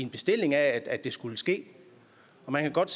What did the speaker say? bestilling af at det skulle ske og man kan godt